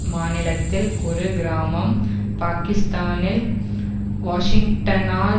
மாநிலத்தில் ஒரு கிராமம் பாகிஸ்தானில் வாஷிங்டனால்